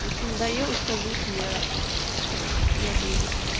если надоела скажите я я выйду